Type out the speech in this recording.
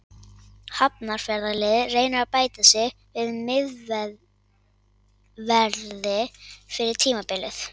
Hafnarfjarðarliðið reynir að bæta við sig miðverði fyrir tímabilið.